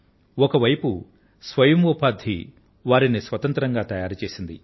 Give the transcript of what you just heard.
ఒకవైపు స్వతంత్రోపాధి వారిని స్వశక్తులుగా తయారుచేసింది